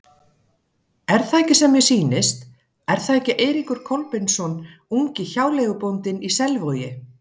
Er það sem mér sýnist, er það ekki Eiríkur Kolbeinsson, ungi hjáleigubóndinn í Selvogi?